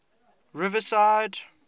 riverside